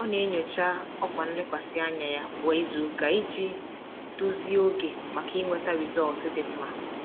Ọ na-enyocha ọkwa nlekwasị anya ya kwa izuụka iji dozie oge maka inweta rịzọlt dị mma.